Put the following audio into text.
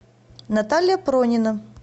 наталья пронина